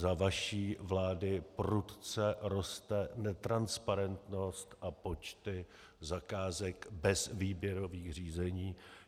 Za vaší vlády prudce roste netransparentnost a počty zakázek bez výběrových řízení.